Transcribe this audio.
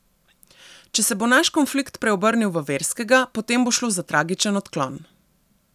Če se bo naš konflikt preobrnil v verskega, potem bo šlo za tragičen odklon.